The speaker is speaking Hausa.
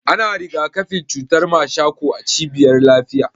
Ana rigakafin cutar mashako a cibiyar lafiya.